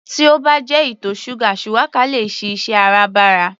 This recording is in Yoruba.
Tí ó bá jẹ ìtọ̀ ṣúgà shuwaka le è ṣiṣẹ́ Áràbarà